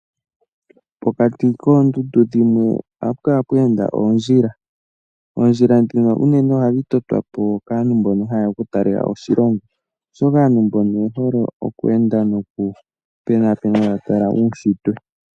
Pokati koondundu dhimwe oha pukala pweenda oondjila. oondjila dhino ohadhi totwa po unene kaantu mbono ha yeya okutalelapo oshilongo oshoka oye hole okweenda taya konaakona uushitwe.